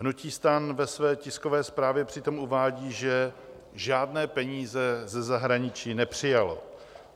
Hnutí STAN ve své tiskové zprávě přitom uvádí, že žádné peníze ze zahraničí nepřijalo.